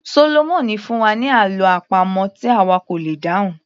Sólómọ̀mì fún wa ní àlọ́ àpamọ̀ tí àwa kò lè dáhùn